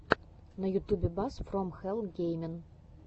на ютубе бас фром хэлл геймин